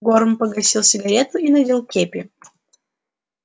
горм погасил сигарету и надел кепи